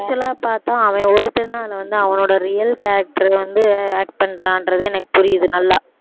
actual ஆ பாத்தா அவன் ஒருத்தன்தான் அதில வந்து அவனோட real character வந்து act பண்றான்றது எனக்கு புரியுது நல்லா